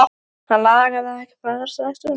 Hann langaði ekki að fara strax úr honum.